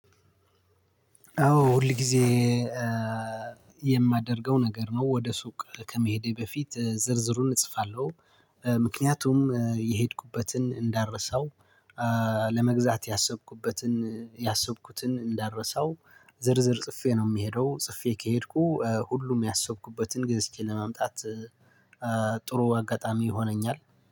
አዎ ሁልጊዜ የማደርገው ነገር ነው ሱቅ ከመሄዴ በፊት ዝርዝሩን እጽፋለሁ። ምክንያቱም የሄድኩበትን እንዳረሳው ለመግዛት ያሰብኩበትን ያሰብኩትን እንዳረሳው ዝርዝር ጽፌ ነው የምሄደው። ጽፌ ከሄድኩ ሁሉም ያሰብኩበትን ገዝቼ ለማምጣት። ጥሩ አጋጣሚ ይሆነኛል።